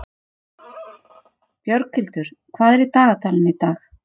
Björghildur, hvað er í dagatalinu í dag?